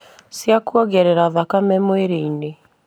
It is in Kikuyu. Cia kuongerera thakame mwĩrĩinĩ